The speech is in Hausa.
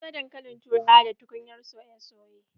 Na soya dankalin turawa da tukunyar soye soye.